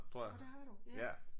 Nåh det har du ja